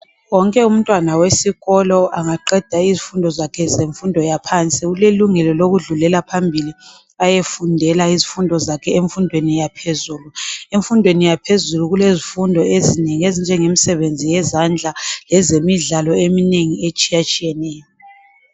Wonke umntwana wesikolo angaqeda izifundo zakhe zemfundo yaphansi, ulelungelo lokudlulela phambili. Ayefundela izifundo zakhe emfundweni yaphezulu. Emfundweni yaphezulu, kulezifundo ezinengi, ezinjengemsebenzi yezandla. Lezemidlalo eminengi, etshiyatshiyeneyo.